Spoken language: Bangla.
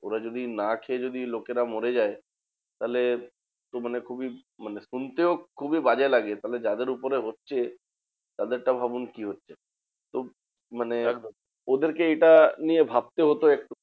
ওরা যদি না খেয়ে যদি লোকেরা মরে যায় তাহলে তো মানে খুবই মানে শুনতেও খুবই বাজে লাগে। তাহলে যাদের উপরে হচ্ছে তাদেরটা ভাবুন কি হচ্ছে? তো মানে ওদেরকে এটা নিয়ে ভাবতে হতো একটু